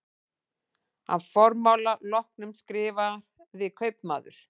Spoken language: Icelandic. Að formála loknum skrifaði kaupmaður